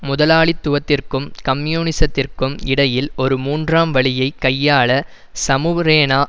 முதலாளித்துவத்திற்கும் கம்யூனிசத்திற்கும் இடையில் ஒரு மூன்றாம் வழியை கையாள சமூப்ரேனா